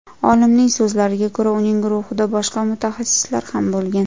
Olimning so‘zlariga ko‘ra, uning guruhida boshqa mutaxassislar ham bo‘lgan.